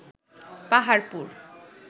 Paharpur